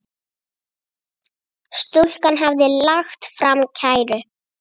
Stúlkan hafði lagt fram kæru.